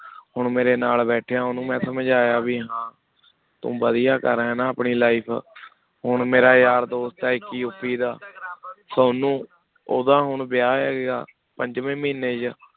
ਹੁਣ ਮੇਰੇ ਨਾਲ ਬੈਠਿਆ ਉਹਨੂੰ ਮੈਂ ਸਮਝਾਇਆ ਵੀ ਹਾਂ ਤੂੰ ਵਧੀਆ ਕਰ ਰਿਹਾਂ ਨਾ ਆਪਣੀ life ਹੁਣ ਮੇਰਾ ਯਾਰ ਦੋਸਤ ਹੈ ਇੱਕ ਯੂਪੀ ਦਾ ਉਹਨੂੰ ਉਹਦਾ ਹੁਣ ਵਿਆਹ ਹੈਗਾ, ਪੰਜਵੇਂ ਮਹੀਨੇ 'ਚ